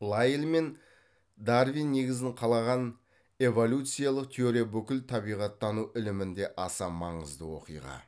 лайель мен дарвин негізін қалаған эволюциялық теория бүкіл табиғаттану ілімінде аса маңызды оқиға